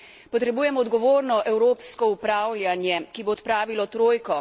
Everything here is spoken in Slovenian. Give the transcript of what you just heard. Potrebujemo odgovorno evropsko upravljanje, ki bo odpravilo trojko.